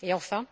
Pour conclure,